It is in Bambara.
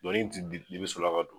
Dɔnku ni dibi sela ka don